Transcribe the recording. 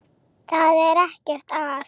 Það er ekkert að.